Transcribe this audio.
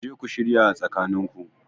Kuje ku shirya a tsakanin ku